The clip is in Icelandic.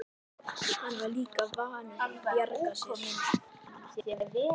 Hann var líka vanur að bjarga sér.